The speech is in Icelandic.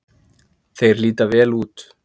Þeir líta vel út.